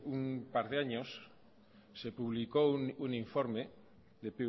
un par de años se publicó un informe de